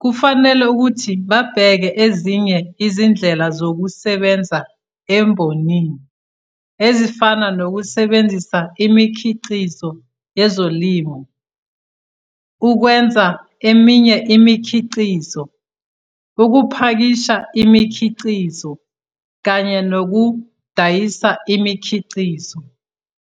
kufanele ukuthi babheke ezinye izindlela zokusebenza embonini ezifana nokusebenzisa imikhiqizo yezolimo ukwenza eminye imikhiqizo, ukupakisha imikhiqizo, kanye nokudayisa imikhiqizo.